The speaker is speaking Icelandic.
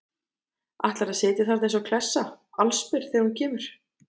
Ætlarðu að sitja þarna eins og klessa, allsber, þegar hún kemur?